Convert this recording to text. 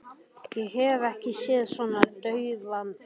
Ég hef ekki séð þig svona daufa áður.